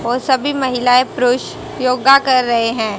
और सभी महिलाएं पुरुष योगा कर रहे हैं।